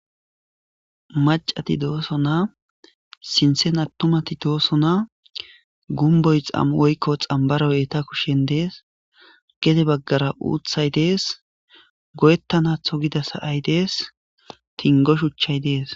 Macati doosona sinthan attumati doosona gumboy woyko xambaroy eeta kushen dees gede bagara uuthay dees goyetanatho gida sa'ay dees tingo shuchay des.